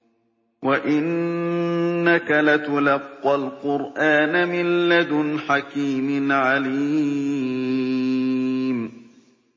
وَإِنَّكَ لَتُلَقَّى الْقُرْآنَ مِن لَّدُنْ حَكِيمٍ عَلِيمٍ